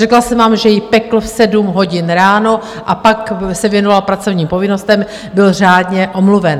Řekla jsem vám, že ji pekl v sedm hodin ráno, a pak se věnoval pracovním povinnostem, byl řádně omluven.